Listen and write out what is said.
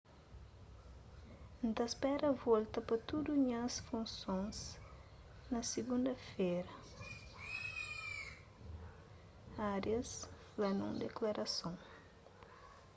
n ta spera volta pa tudu nhas funson na sigunda-fera arias fla nun diklarason